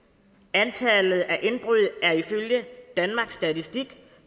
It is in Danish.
antallet af indbrud er ifølge danmarks statistik